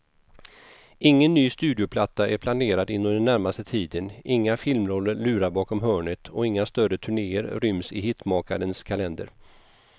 Ingen ny studioplatta är planerad inom den närmaste tiden, inga filmroller lurar bakom hörnet och inga större turnéer ryms i hitmakarens kalender.